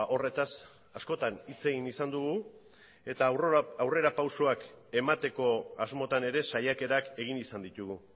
horretaz askotan hitz egin izan dugu eta aurrerapausoak emateko asmotan ere saiakerak egin izan ditugu